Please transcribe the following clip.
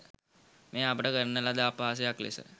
මෙය අපට කරන ලද අපහාසයක් ලෙස